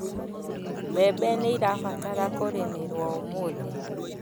Mbembe nĩirabatara kũrĩmĩrwo ũmũthi